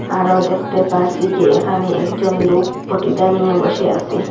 আরো দেখতে পারছি যে এখানে একজন লোক বটি দা নিয়ে বসে আসে।